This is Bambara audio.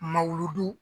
Ma wulu